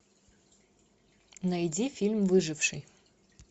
найди фильм выживший